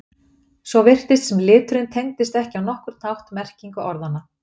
Svo virtist sem liturinn tengdist ekki á nokkurn hátt merkingu orðanna.